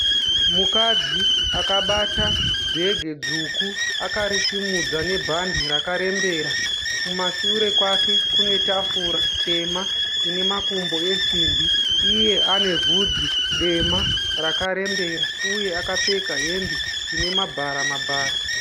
Mukadzi akabata bhegi dzvuku akarisimudza nebhadhi rakarembera. Kumashure kwake kune tafura tema ine makumbo esimbi. Iye ane bvudzi dema rakarembera uye akapfeka hembe ine mabhara mabhara.